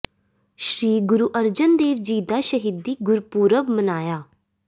ਸ੍ਰੀ ਗੁਰੂ ਅਰਜਨ ਦੇਵ ਜੀ ਦਾ ਸ਼ਹੀਦੀ ਗੁਰਪੁਰਬ ਮਨਾਇਆ